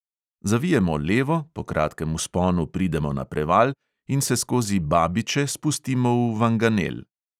Zavijemo levo, po kratkem vzponu pridemo na preval in se skozi babiče spustimo v vanganel.